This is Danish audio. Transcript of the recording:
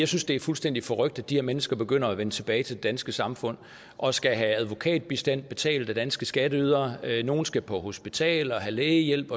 synes det er fuldstændig forrykt at de her mennesker begynder at vende tilbage til det danske samfund og skal have advokatbistand betalt af danske skatteydere nogle skal på hospitalet og have lægehjælp